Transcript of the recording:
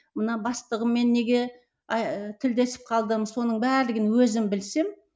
мына бастығыммен неге тілдесіп қалдым соның барлығын өзім білсем